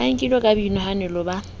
a nkilwe ka boinahanelo ba